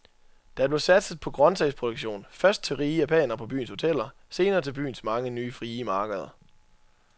Der blev satset på grøntsagsproduktion, først til rige japanere på byens hoteller, senere til byens mange nye frie markeder.